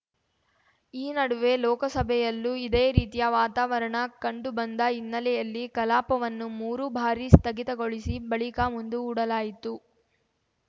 ಈ ನಡುವೆ ಲೋಕಸಭೆಯಲ್ಲೂ ಇದೇ ರೀತಿಯ ವಾತಾವರಣ ಕಂಡುಬಂದ ಹಿನ್ನೆಲೆಯಲ್ಲಿ ಕಲಾಪವನ್ನು ಮೂರು ಬಾರಿ ಸ್ಥಗಿತಗೊಳಿಸಿ ಬಳಿಕ ಮುಂದೂಡಲಾಯಿತು